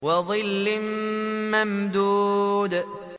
وَظِلٍّ مَّمْدُودٍ